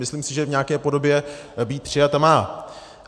Myslím si, že v nějaké podobě být přijata má.